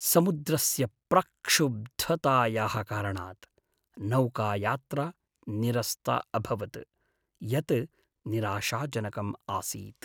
समुद्रस्य प्रक्षुब्धतायाः कारणात् नौकायात्रा निरस्ता अभवत्, यत् निराशाजनकम् आसीत्।